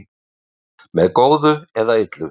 Með góðu eða illu?